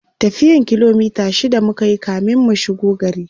tafiyan kilomita shida mukayi kamin mu shigo gari